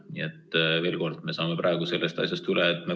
Nii et veel kord: me saame praegu sellest asjast üle.